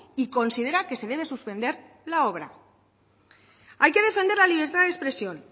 y considera que se debe suspender la obra hay que defender la libertad de expresión